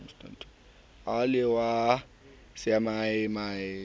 e le wa semanyamanyane o